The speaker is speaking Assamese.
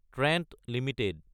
Trent Ltd